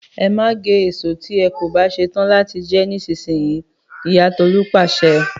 “E ma ge eso ti e ko ba setan lati je e nisinyi” Iya Tolu pase.